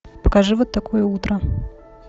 покажи вот такое утро